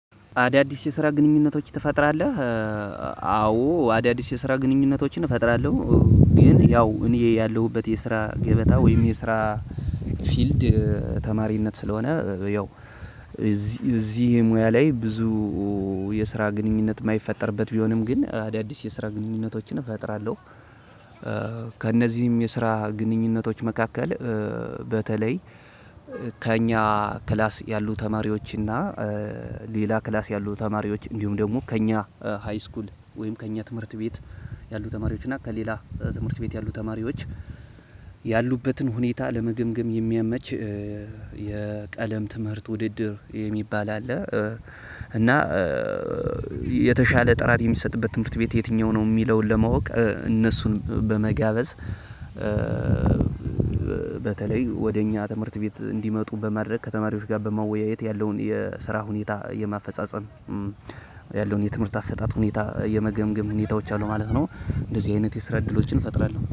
አዳዲስ የስራ ግኑኝነቶች ትፈጥራለህ? አዎ አዳዲስ የስራ ግንኙነቶችን እፈጥራለሁ። ግን ያው እኔ ያለሁበት የስራ ገበታ ወይም የስራ ፊልድ ተማሪነት ስለሆነ ያው እዚህ እዚህ ሙያ ላይ ብዙ የስራ ግንኙነት የማይፈጠርበት ቢሆንም ግን አዳዲስ የስራ ግንኙነቶችን እፈጥራለሁ። ከእነዚህም የስራ ግንኙነቶች መካከል በተለይ ከእኛ ክላስ ያሉ ተማሪዎች እና ሌላ ክላስ ያሉ ተማሪዎች እንዲሁም ደግሞ ከእኛ ሃይስኩል ወይም ከእኛ ትምህርት ቤት ያሉ ተማሪዎች እና ከሌላ ትምህርት ቤት ያሉ ተማሪዎች ያሉበትን ሁኔታ ለመግምግም የሚያመች የቀለም ትምህርት ውድድር የሚባል አለ። እና የተሻለ ጥራት የሚሰጥበት ትምህርት ቤት የትኛው ነው የሚለውን ለማወቅ እነሱን በመጋበዝ በተለይ ወደ እኛ ትምህርት ቤት እንዲመጡ በማድረግ ከተማሪዎች ጋር በመወያየት ያለውን የስራ ሁኔታ የማፈጻጸም ያለውን የትምህርት አሰጣጥ ሁኔታ የመገምገም ሁኔታዎች አሉ ማለት ነው። እንደዚህ አይነት የስራ እድሎችን እፈጥራለሁ።